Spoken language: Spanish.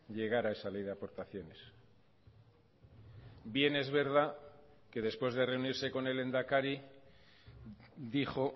llegar a esa ley de aportaciones bien es verdad que después de reunirse con el lehendakari dijo